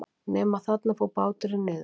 Nema þarna fór báturinn niður.